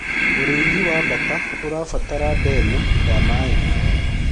ũrĩithi wa bata ũrabatara ndemu ya maĩ